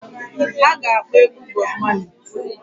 Ha ga-akpọ egwu Bob Marley.